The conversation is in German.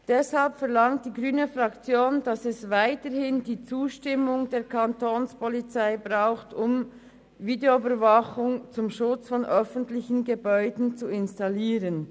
Deshalb verlangt die grüne Fraktion, dass es weiterhin die Zustimmung der Kapo braucht, um Videoüberwachung zum Schutz von öffentlichen Gebäuden zu installieren.